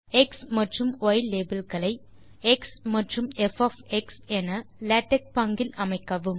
X மற்றும் Y label களை X மற்றும் ப் என லேடக் பாங்கில் அமைக்கவும்